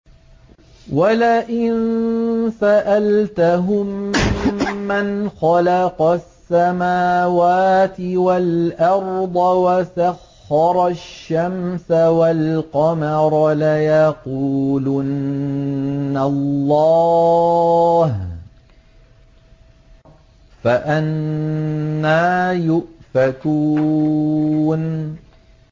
وَلَئِن سَأَلْتَهُم مَّنْ خَلَقَ السَّمَاوَاتِ وَالْأَرْضَ وَسَخَّرَ الشَّمْسَ وَالْقَمَرَ لَيَقُولُنَّ اللَّهُ ۖ فَأَنَّىٰ يُؤْفَكُونَ